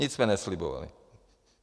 Nic jsme neslibovali.